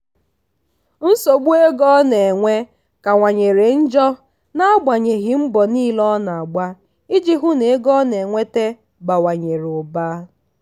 nsogbu ego ọ na-enwe kanwanyere njọ n'agbanyeghị mbọ niile ọ na-agba iji hụ na ego ọ na-enweta bawanyere ụba.